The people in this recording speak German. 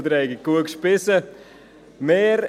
Ich hoffe, Sie haben alle gut gespeist. «